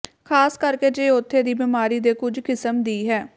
ਖ਼ਾਸ ਕਰਕੇ ਜੇ ਉਥੇ ਦੀ ਬਿਮਾਰੀ ਦੇ ਕੁਝ ਕਿਸਮ ਦੀ ਹੈ